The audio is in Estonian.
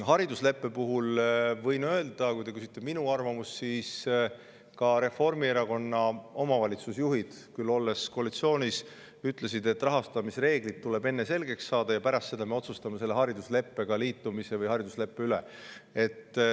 Haridusleppe puhul võin öelda, kui te küsite minu arvamust, et ka Reformierakonna omavalitsusjuhid, küll olles koalitsioonis, ütlesid, et rahastamisreeglid tuleb enne selgeks saada ja pärast seda otsustatakse haridusleppega liitumise või haridusleppe üle.